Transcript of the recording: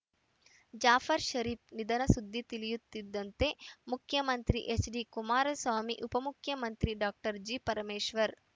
ಜಾಫರ್‌ ಷರೀಫ್‌ ನಿಧನ ಸುದ್ದಿ ತಿಳಿಯುತ್ತಿದ್ದಂತೆ ಮುಖ್ಯಮಂತ್ರಿ ಎಚ್‌ಡಿಕುಮಾರಸ್ವಾಮಿ ಉಪಮುಖ್ಯಮಂತ್ರಿ ಡಾಕ್ಟರ್ ಜಿಪರಮೇಶ್ವರ್‌